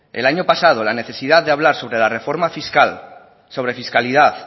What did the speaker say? el año pasado la necesidad de hablar sobre la reforma fiscal sobre fiscalidad